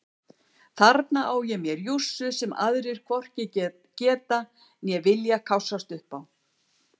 Þarna á ég mér jússu sem aðrir hvorki geta né vilja kássast upp á.